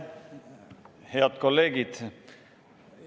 Head kolleegid!